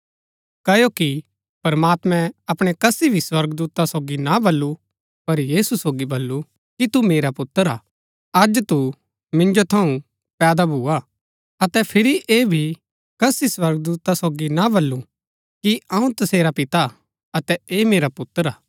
क्ओकि प्रमात्मैं अपणै कसी भी स्वर्गदूता सोगी ना बल्लू पर यीशु सोगी बल्लू कि तू मेरा पुत्र हा अज तू मिन्जो थऊँ पैदा भुआ अतै फिरी ऐह भी कसी स्वर्गदूता सोगी ना बल्लू कि अऊँ तसेरा पिता अतै ऐह मेरा पुत्र हा